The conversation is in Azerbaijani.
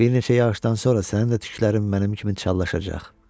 Bir neçə yağışdan sonra sənin də tüklərin mənim kimi çallaşacaq.